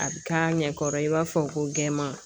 A bɛ k'a ɲɛkɔrɔ i b'a fɔ ko gɛnma